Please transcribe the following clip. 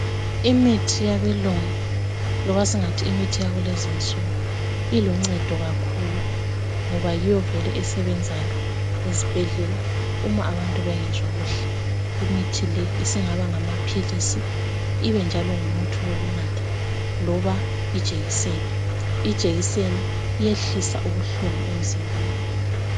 Imithi yabelungu loba singathi imithi yakulezinsuku ilincedo kakhulu, ngoba yiyo vele esebenzayo ezibhedlela uma abantu bengezwa kuhle. Imithi le isingaba ngamaphilisi ibe njalo ngumuthi wokunatha loba ijekiseni. Ijekiseni iyehlisa ubuhlungu emzimbeni.